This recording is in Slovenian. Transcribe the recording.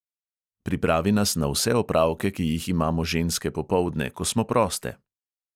Pripravi nas na vse opravke, ki jih imamo ženske popoldne, ko smo proste.